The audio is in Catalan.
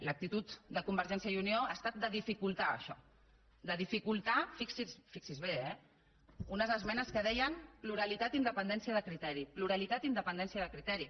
l’actitud de convergència i unió ha estat de dificultar això de dificultar fixi s’hi bé eh unes esmenes que deien pluralitat i independència de criteri pluralitat i independència de criteri